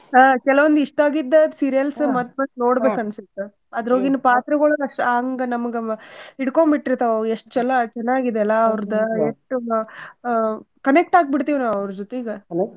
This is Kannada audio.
ಹಾ ಕೆಲವೊಂದ್ ಇಷ್ಟ ಆಗಿದ್ದ serials ಮತ್ತ್ ಮತ್ತ್ ನೋಡ್ಬೇಕ ಅನ್ಸುತ್ತ ಅದ್ರೊಳಗಿನ್ ಪಾತ್ರಗೊಳ್ ಅಷ್ಟ ಹಂಗ ನಮಗ ಹಿಡಕೊಂಡ ಬಿಟ್ಟಿರ್ತಾವ ಅವ್ ಎಷ್ಟ್ ಚೊಲೋ ಚನ್ನಾಗಿದೆ ಅಲ್ಲಾ ಅವ್ರದ್ connect ಆಗಿ ಬಿಡ್ತೀವಿ ನಾವ್ ಅವ್ರ ಜೊತಿಗ .